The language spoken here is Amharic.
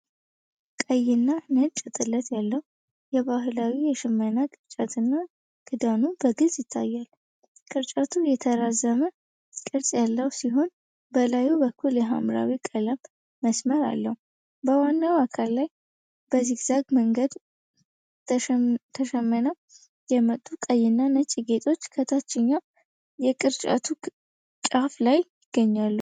ቀይና ነጭ ጥለት ያለው የባህላዊ የሽመና ቅርጫትና ክዳኑ በግልጽ ይታያሉ። ቅርጫቱ የተራዘመ ቅርጽ ያለው ሲሆን፤ በላዩ በኩል የሐምራዊ ቀለም መስመር አለው። በዋናው አካል ላይ በዚግዛግ መንገድ ተሸምነው የመጡ ቀይ እና ነጭ ጌጦች ከታችኛው የቅርጫቱ ጫፍ ላይ ይገናኛሉ።